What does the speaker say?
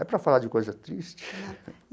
É para falar de coisa triste.